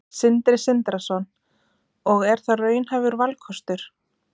Sindri Sindrason: Og er það raunhæfur valkostur?